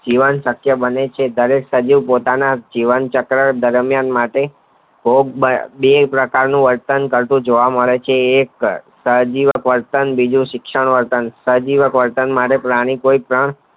જીવન શકય બને છે ત્યારે સભ્ય પોતા ના જીવન ચક્ર દરમિયાન માટે ભીગ બે પ્રકાર નું વર્તન કરતાં જોવા મળે છે સહજીવી શિક્ષણ બીજું શિક્ષણ વર્તન સહજીબી શિક્ષણ